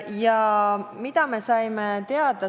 Ja mida me teada saime?